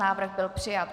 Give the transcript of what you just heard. Návrh byl přijat.